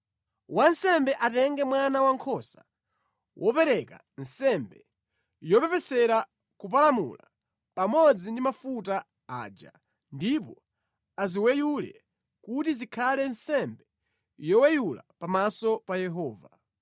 Wansembe atenge mwana wankhosa wopereka nsembe yopepesera kupalamula, pamodzi ndi mafuta aja, ndipo aziweyule kuti zikhale nsembe yoweyula pamaso pa Yehova.